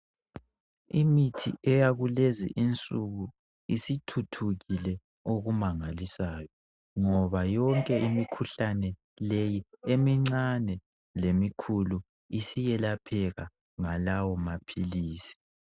Imithi eyakulezi insuku isithuthukile okumangalisayo. Ngoba yonke imikhuhlane leyi emincane lemikhulu iziyelapheka ngalawo maphilisi.